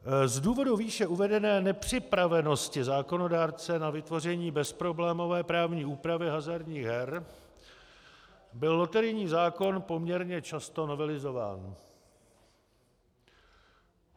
Z důvodu výše uvedené nepřipravenosti zákonodárce na vytvoření bezproblémové právní úpravy hazardních her byl loterijní zákon poměrně často novelizován.